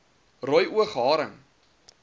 rooi oog haring